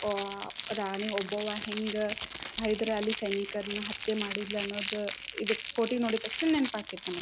ಅಹ್ ರಾಣಿ ಓಬ್ಬವ್ವ ಹೆಂಗ ಹೈದರಾಲಿ ಸೈನಿಕರನ್ನು ಹತ್ಯೆ ಮಾಡಿದ್ಲು ಅನ್ನೋದು ಇದು ಕೋಟೆ ನೋಡಿದ್ ತಕ್ಷಣ ನೆನಪು ಆಗತ್ತೆ.